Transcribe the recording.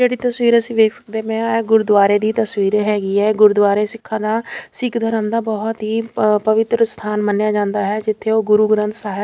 ਜਿਹੜੀ ਤਸਵੀਰ ਅਸੀਂ ਵੇਖ ਸਕਦੇ ਪਏ ਆ ਏ ਗੁਰਦੁਆਰੇ ਦੀ ਤਸਵੀਰ ਹੈਗੀ ਹੈ ਗੁਰਦੁਆਰੇ ਸਿੱਖਾਂ ਦਾ ਸਿੱਖ ਧਰਮ ਦਾ ਬਹੁਤ ਹੀ ਪਵਿੱਤਰ ਸਥਾਨ ਮੰਨਿਆ ਜਾਂਦਾ ਹੈ ਜਿੱਥੇ ਉਹ ਗੁਰੂ ਗ੍ਰੰਥ ਸਾਹਿਬ --